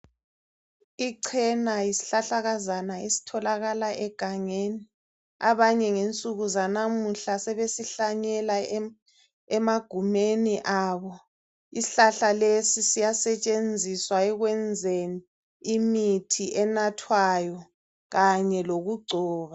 Ichena yisihlahlakazana esitholakala egangeni. Abanye ngensuku zanamuhla sebesihlanyela emagumeni abo. Isihlahla lesi siyasetshenziswa ekwenzeni imithi enathwayo kanye lokugcoba.